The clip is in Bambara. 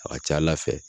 A ka ca ala fɛ